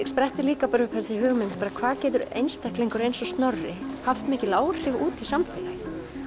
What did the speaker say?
sprettur líka upp þessi hugmynd hvað getur einstaklingur eins og Snorri haft mikil áhrif út í samfélagið